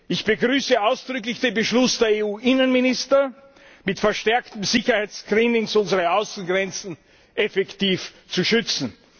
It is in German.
Ich begrüße ausdrücklich den Beschluss der EU Innenminister, mit verstärkten Sicherheitsscreenings unsere Außengrenzen effektiv zu schützen.